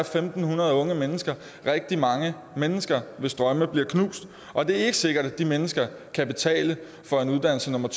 fem hundrede unge mennesker rigtig mange mennesker hvis drømme bliver knust og det er ikke sikkert at de mennesker kan betale for en uddannelse nummer